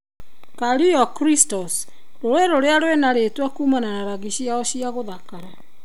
Caño Cristales:Rũĩ rũrĩa rwĩna rĩtwa kuumana na rangi ciao cia kũthakara